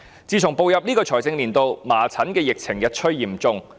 自從步入本財政年度以來，麻疹疫情日趨嚴重。